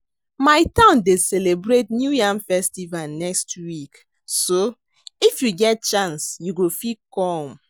My town dey celebrate new yam festival next week so if you get chance you go fit come